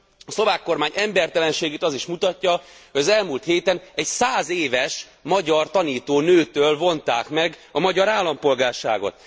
A szlovák kormány embertelenségét az is mutatja, hogy az elmúlt héten egy 100 éves magyar tanítónőtől vonták meg a szlovák állampolgárságot.